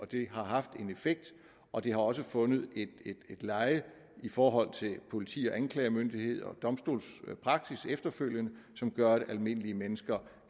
det har haft en effekt og det har også fundet et leje i forhold til politi og anklagemyndighed og domstolspraksis efterfølgende som gør at almindelige mennesker